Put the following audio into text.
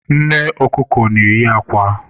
Nne ọkụkọ na-eyi akwa